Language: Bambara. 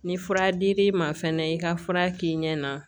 Ni fura dir'i ma fɛnɛ i ka fura k'i ɲɛ na